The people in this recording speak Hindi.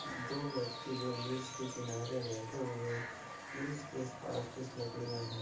दो व्यक्ति जो ब्रिज के किनारे बैठे हुए हैं और इसके पास कुछ लकड़ियाँ हैं।